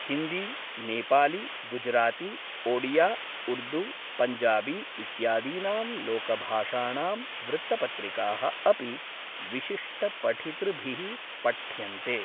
हिन्दी, नेपाली, गुजराती, ओडिया, उर्दू, पञ्जाबी इत्यादीनां लोकभाषाणां वृत्तपत्रिकाः अपि विशिष्टपठितृभिः पठ्यन्ते।